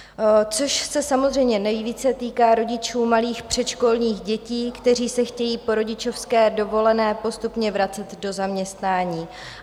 To se samozřejmě nejvíce týká rodičů malých předškolních dětí, kteří se chtějí po rodičovské dovolené postupně vracet do zaměstnání.